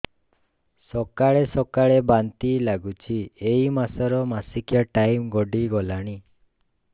ସକାଳେ ସକାଳେ ବାନ୍ତି ଲାଗୁଚି ଏଇ ମାସ ର ମାସିକିଆ ଟାଇମ ଗଡ଼ି ଗଲାଣି